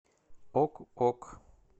ок ок